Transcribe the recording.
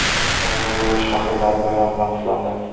Xorazmda urush faxriylari bayram bilan qutlandi.